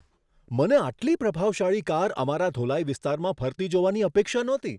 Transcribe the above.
મને આટલી પ્રભાવશાળી કાર અમારા ધોલાઈ વિસ્તારમાં ફરતી જોવાની અપેક્ષા નહોતી.